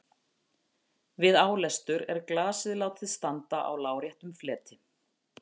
Við álestur er glasið látið standa á láréttum fleti.